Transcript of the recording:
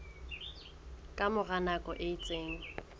ka mora nako e itseng